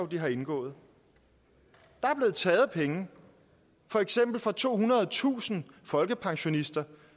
de har indgået der er blevet taget penge for eksempel fra tohundredetusind folkepensionister